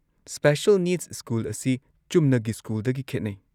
Special needs school ꯑꯁꯤ ꯆꯨꯝꯅꯒꯤ ꯁ꯭ꯀꯨꯜꯗꯒꯤ ꯈꯦꯠꯅꯩ꯫